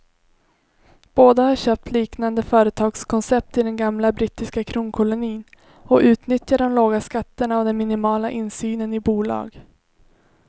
Båda har köpt liknande företagskoncept i den gamla brittiska kronkolonin och utnyttjar de låga skatterna och den minimala insynen i bolag.